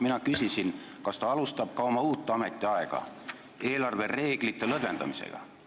Mina küsisin, kas ta alustab ka oma uut ametiaega eelarvereeglite lõdvendamisega.